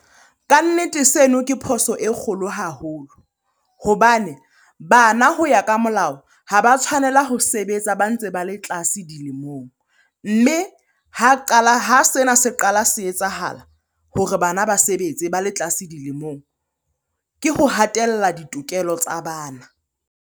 Kannete seno ke phoso e kgolo haholo hobane bana ho ya ka molao, ha ba tshwanela ho sebetsa, ba ntse ba le tlase dilemong. Mme ha qala, ha sena se qala se etsahala hore bana ba sebetse ba le tlase dilemong. Ke ho hatella ditokelo tsa bana.